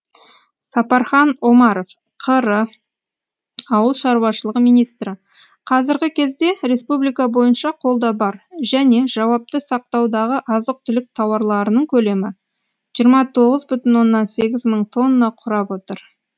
сапархан омаров қр ауыл шаруашылығы министрі қазіргі кезде республика бойынша қолда бар және жауапты сақтаудағы азық түлік тауарларының көлемі жиырма тоғыз бүтін оннан сегіз мың тонна құрап отыр